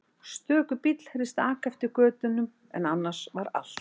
Stöku bíll heyrðist aka eftir götunni en annars var allt hljótt.